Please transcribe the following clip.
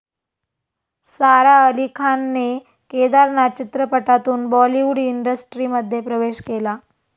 सारा अली खानने 'केदारनाथ' चित्रपटातून बॉलिवूड इंडस्ट्रीमध्ये प्रवेश केला.